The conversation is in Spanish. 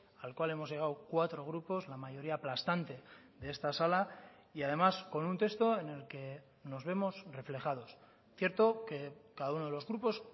al cual hemos llegado cuatro grupos la mayoría aplastante de esta sala y además con un texto en el que nos vemos reflejados cierto que cada uno de los grupos